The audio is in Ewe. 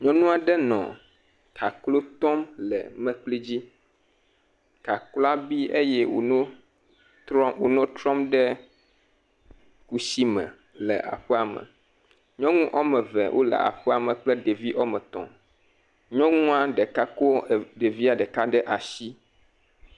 Nyɔnu aɖe nɔ kaklo tɔm le mlekui dzi. Kakloa bi eye wònɔ trɔm ɖe kusi me le aƒea me. Nyɔnu ɔme eve wole aƒea me kple ɖevi ɔme tɔ̃, nyɔnua ɖeka ko ɖevia ɖeka ɖe atsi.